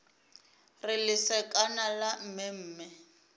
re lesekana la mme mme